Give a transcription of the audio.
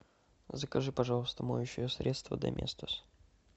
закажи пожалуйста моющее средство доместос